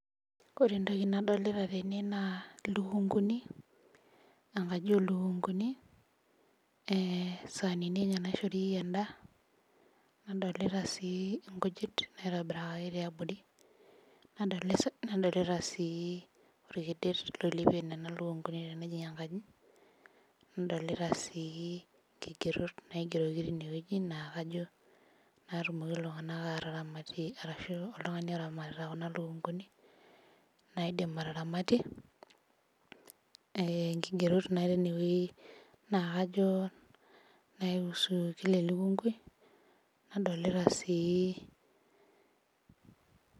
ore entoki nadolita teneweji naa ilukunkuni, enkaji oo ilikunkuni nadolita sii inkujit nadolita sii olkedet ,okedie nena lukunguni, enkaji nadolita sii ilkegerot, natumoki iltung'anak ataramatie neramatie kuna lukunkuni, inkigerot nausu elukungu.